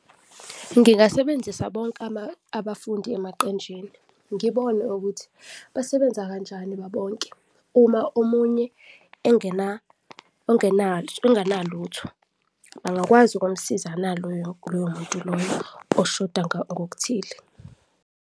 Ngingasebenzisa bonke abafundi emaqenjini, ngibone ukuthi basebenza kanjani babonke, uma omunye enganalutho, bangakwazi ukumsiza naloyo muntu loyo oshoda ngokuthile.